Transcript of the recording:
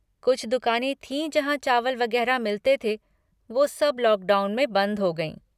कुछ दुकानें थीं जहाँ चावल वगैरह मिलते थे, वो सब लॉकडाउन में बंद हो गईं।